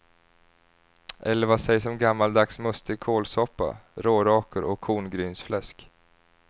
Eller vad sägs om gammaldags mustig kålsoppa, rårakor och korngrynsfläsk.